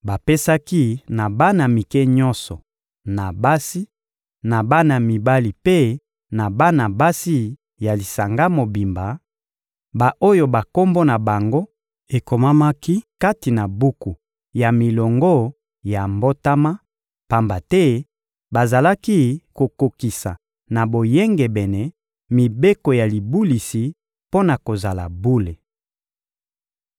bapesaki na bana mike nyonso, na basi, na bana mibali mpe na bana basi ya lisanga mobimba, ba-oyo bakombo na bango ekomamaki kati na buku ya milongo ya mbotama, pamba te bazalaki kokokisa na boyengebene mibeko ya libulisi mpo na kozala bule.